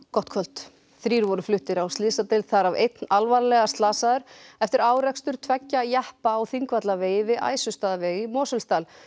gott kvöld þrír voru fluttir á slysadeild þar af einn alvarlega slasaður eftir árekstur tveggja jeppa á Þingvallavegi við Æsustaðaveg í Mosfellsdal